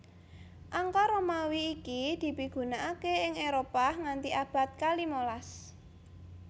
Angka Romawi iki dipigunakaké ing Éropah nganti abad kalimalas